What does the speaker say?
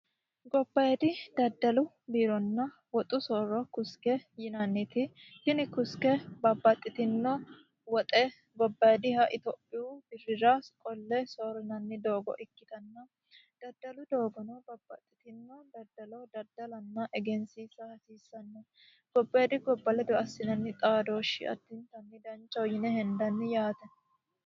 Gobbayiidi daddalu biironna woxu soorro kuske yinanniti birra soorrinanni doogo ikkitanna gobbayiidi ledo assinanni xaadoshshi addinta danchaho yaate.